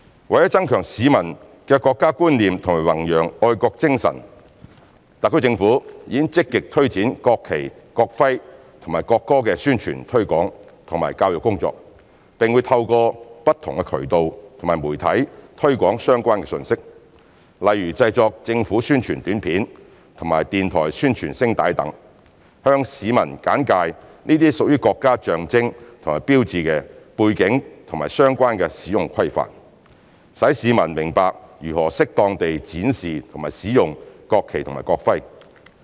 為增強市民的國家觀念和弘揚愛國精神，特區政府已積極推展國旗、國徽和國歌的宣傳推廣和教育工作，並會透過不同渠道和媒體推廣相關信息，例如製作政府宣傳短片及電台宣傳聲帶等，向市民簡介這些屬國家象徵和標誌的背景和相關使用規範，使市民明白如何適當地展示及使用國旗及國徽。